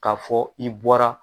K'a fɔ i bɔra